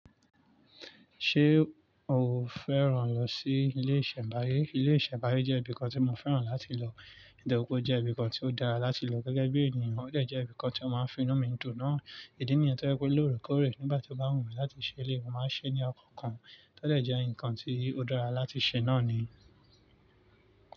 Ṣé o fẹ́ràn lọ sí ilé ìsẹ̀mbáyé? Ilé ìsẹ̀mbáyé jẹ́ ibìkan tí mo fẹ́ràn láti lọ, nítorí pé ó jẹ́ ibìkan tí ó dára láti lọ gẹ́gẹ́ bí ènìyàn, ó dẹ̀ jẹ́ ibìkan tí ó máa ń fi inú mi dùn. Náà, ìdí nìyẹn tó jẹ́ pé lóòrèkóòrè nígbà tí ó bá wù mí láti ṣe lè, mo máa ń ṣe ní ọkàn kan, tó dẹ̀ jẹ́ ǹkan tí ó dára láti ṣe náà ni.